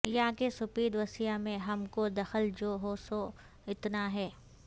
یاں کے سپید و سیہ میں ہم کو دخل جو ہے سو اتنا ہے